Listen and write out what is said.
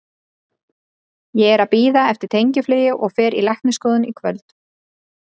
Ég er að bíða eftir tengiflugi og fer í læknisskoðun í kvöld.